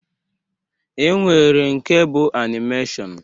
E nwere nke bụ anịmeshiọn.